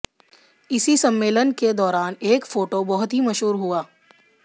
इसी सम्मेलन के दौरान एक फोटो बहुत ही मशहूर हुआ